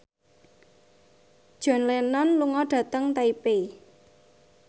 John Lennon lunga dhateng Taipei